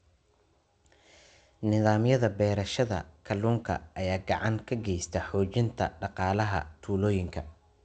Nidaamyada beerashada kalluunka ayaa gacan ka geysta xoojinta dhaqaalaha tuulooyinka.